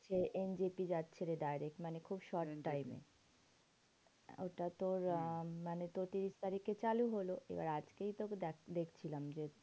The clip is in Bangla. এন জি পি যাচ্ছে direct, মানে খুব short time এ। ওইটা তোর আহ মানে তোর তিরিশ তারিখে চালু হলো। এবার আজকেই তো দেখছিলাম যে,